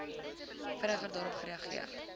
vinniger daarop reageer